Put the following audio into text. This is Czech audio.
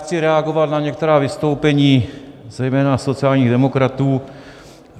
Chci reagovat na některá vystoupení zejména sociálních demokratů.